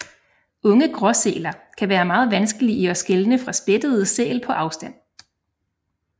Unge gråsæler kan være meget vanskelige at skelne fra spættede sæl på afstand